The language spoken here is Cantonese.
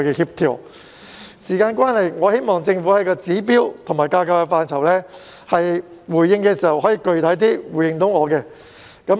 由於時間關係，我希望政府就指標和架構等範疇回應我時，可以具體一點。